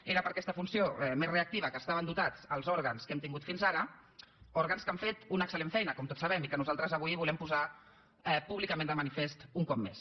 era per aquesta funció més reactiva que estaven dotats els òrgans que hem tingut fins ara òrgans que han fet una excel·lent feina com tots sabem i que nosaltres avui volem posar públicament de manifest un cop més